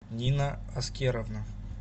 нина аскеровна